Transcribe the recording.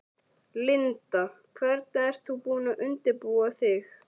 Linda: Hvernig ert þú búin að undirbúa þig?